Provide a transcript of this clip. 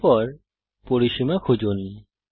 এর পরে পরিসীমা খুঁজুন